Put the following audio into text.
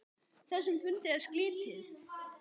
Þessum fundi er slitið.